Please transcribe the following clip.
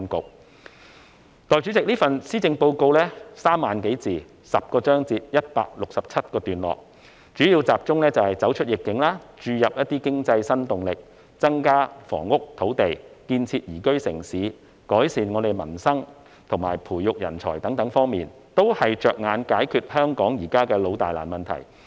代理主席，這份施政報告共3萬多字，分成有10個章節及167段，其內容主要集中走出逆境，注入經濟新動力，增加房屋與土地，建設宜居城市，改善民生，以及培育人才等方面，有關政策措施全是着眼於解決香港的老大難問題。